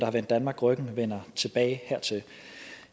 har vendt danmark ryggen vender tilbage hertil